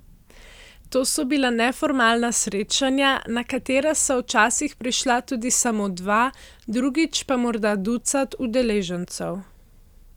To so bila neformalna srečanja, na katera sva včasih prišla tudi samo dva, drugič pa morda ducat udeležencev.